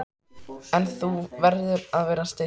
En þú verður að vera stillt.